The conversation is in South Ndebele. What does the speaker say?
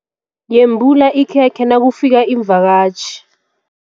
Yembula ikhekhe nakufika iimvakatjhi.